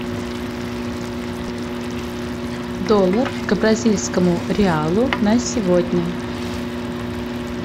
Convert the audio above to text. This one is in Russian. доллар к бразильскому реалу на сегодня